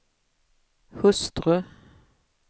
hustru